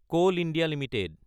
coal India Ltd